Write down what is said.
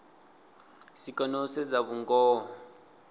si kone u sedza vhungoho